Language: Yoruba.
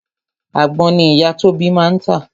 Àgbon ni ìyá Tóbi máa ń tà